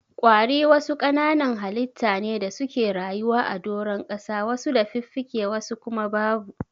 Ƙwari wasu kananan halitta ne da suke rayuwa a doron ƙasa wasu da fiffike wasu kuma babu.